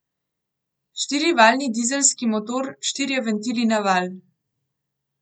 Štirivaljni dizelski motor, štirje ventili na valj.